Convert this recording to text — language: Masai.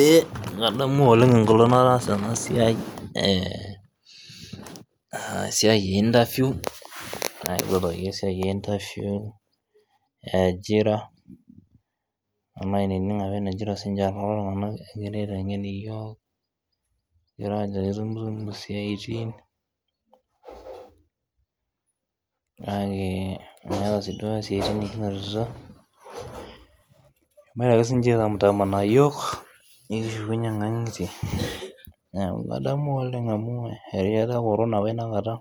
Eeeh kadamu ooleng ekata nataasa ena siai eeeeh esiai e interview aipotokoki esia e interview, ajira alo ainining apa enajito si ninche. Ore si ninche lelo tunganak egira aitengen yiook, egira aajo itumtumu siatin, kake meetae si duo siatin nikinotito egira ake sininche aitamtamanaa yiook nikishukunye nkangitie. Neaku kadamu oooleng amu erishata e corona apa ina kata